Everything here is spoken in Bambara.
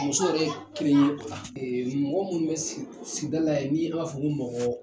Muso yɛrɛ ye kelen ye o la mɔgɔ minnu bɛ sigida la ya n'i b'a fɔ ko mɔgɔ